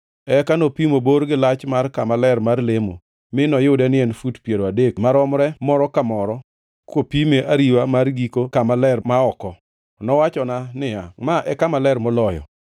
Eka nopimo bor gi lach mar kama ler mar lemo; mi noyudo ni en fut piero adek maromre moro ka moro, kopime ariwa mar giko kama ler ma oko. Nowachona niya, “Ma e Kama Ler Moloyo.”